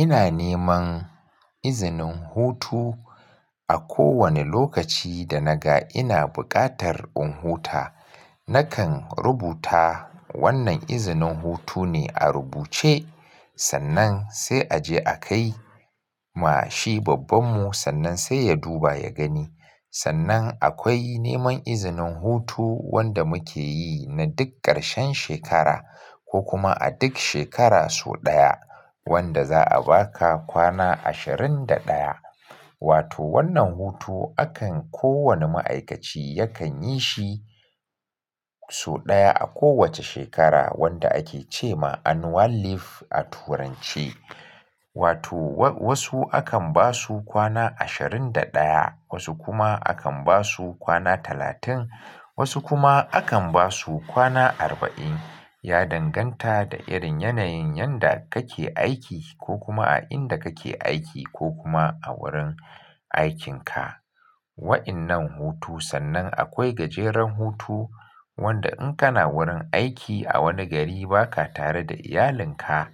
Ina neman izinin hutu a kowane lokaci da naga ina buƙatar in huta. Na kan rubuta wannan izinin hutu ne a rubuce, sannan sai a je a kai ma shi babbanmu sannan sai ya duba ya gani. Sannan akwai neman izinin hutu wanda muke yi na duk ƙarshen shekara ko kuma a duk shekara sau ɗaya wanda za a baka kwana ashirin da ɗaya. Wato wannan hutu akan kowane ma'aikaci yakan yi shi sau ɗaya a kowace shekara wanda ake ce ma annual leave a turance. Wato wa-wasu akan ba su kwana ashirin da ɗaya, wasu kuma akan ba su kwana talatin, wasu kuma akan ba su kwana arba'in. Ya danganta da irin yanayin yanda kake aiki ko kuma a inda kake aiki ko kuma a wurin aikinka. Wa'innan hutu sannan akwai gajeren hutu wanda in kana wurin aiki a wani gari baka tare da iyalinka,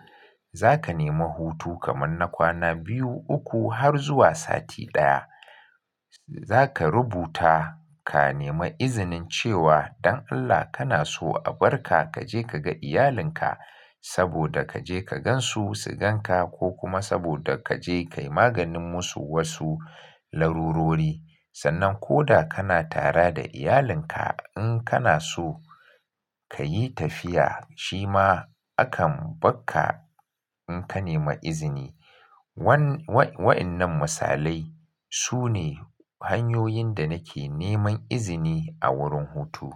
za ka nemi hutu kamar na kwana biyu, uku har zuwa sati ɗaya. Za ka rubuta ka nemi izinin cewa don Allah kana so a bar ka ka je ka ga iyalinka saboda ka je ka gan su, su gan ka ko kuma saboda ka je ka yi maganin musu wasu larurori. Sannan ko da kana tare da iyalinka, in kana so ka yi tafiya shi ma akan bar ka in ka nemi izini. Wan-wai-wa'innan misalai su ne hanyoyin da nake neman izini a wurin hutu.